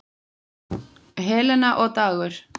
Helena og Dagur.